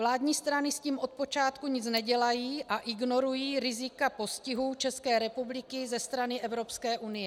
Vládní strany s tím od počátku nic nedělají a ignorují rizika postihu České republiky ze strany Evropské unie.